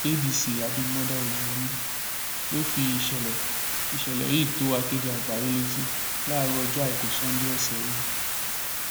adc abimodá oyeyèmí ló fi ìṣẹlẹ ìṣẹlẹ yìí tó akéde àgbáyé létí láàárọ ọjọ àìkú sannde ọsẹ yìí